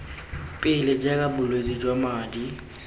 pele jaaka bolwetse jwa madi